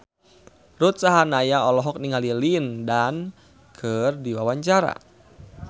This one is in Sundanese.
Ruth Sahanaya olohok ningali Lin Dan keur diwawancara